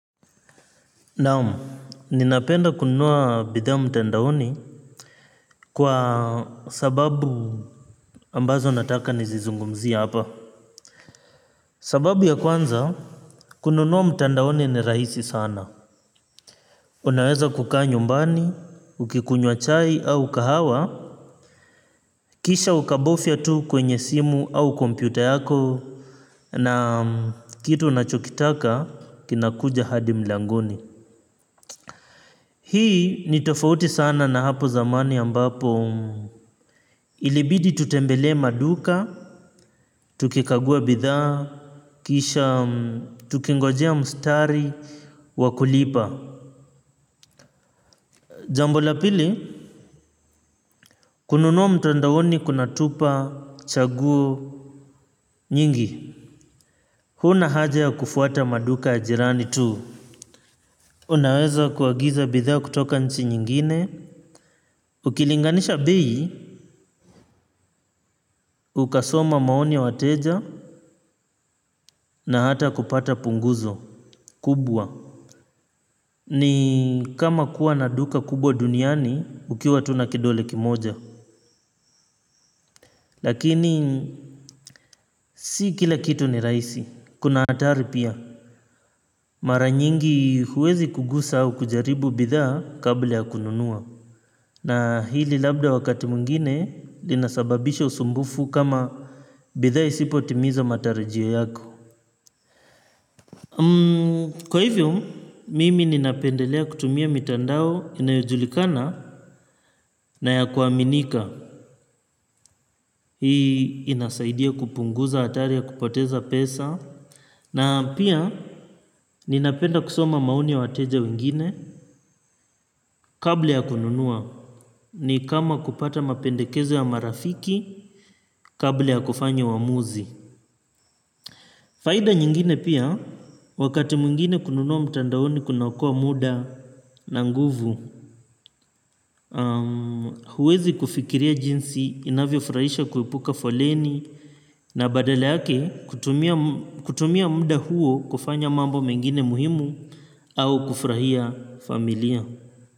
Naam, ninapenda kununua bidhaa mtandaoni kwa sababu ambazo nataka nizizungumzie hapa. Sababu ya kwanza, kununua mtandaoni ni rahisi sana. Unaweza kukaa nyumbani, ukikunywa chai au kahawa, kisha ukabofya tu kwenye simu au kompyuta yako na kitu unachokitaka kinakuja hadi mlangoni. Hii ni tofauti sana na hapo zamani ambapo ilibidi tutembelee maduka. Tukikagua bithaa. Kisha tukingojea mustari wa kulipa. Jambo la pili kununua mtandaoni kunatupa chaguo Nyingi. Huna haja ya kufuata maduka ya jirani tu. Unaweza kuagiza bithaa kutoka nchi nyingine. Ukilinganisha bei. Ukasoma maoni ya wateja. Na hata kupata punguzo kubwa. Ni kama kuwa na duka kubwa duniani ukiwa tu na kidole kimoja. Lakini si kila kitu ni rahisi. Kuna hatari pia. Mara nyingi huwezi kugusa au kujaribu bithaa kabla ya kununua. Na hili labda wakati mwingine linasababisha usumbufu kama bithaa isipotimiza matarijio yako. Kwa hivyo, mimi ninapendelea kutumia mitandao inayojulikana na ya kuaminika. Hii inasaidia kupunguza hatari ya kupoteza pesa. Na pia ninapenda kusoma maoni ya wateja wengine kabla ya kununua. Ni kama kupata mapendekezo ya marafiki kabla ya kufanya uamuzi. Faida nyingine pia, wakati mwingine kununua mitandaoni kunaokoa muda na nguvu. Huwezi kufikiria jinsi inavyo furahisha kuepuka foleni na badala yake kutumia mda huo kufanya mambo mengine muhimu au kufurahia familia.